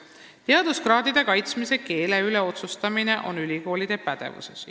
" Teaduskraadide kaitsmisel kasutatava keele otsustamine on ülikoolide pädevuses.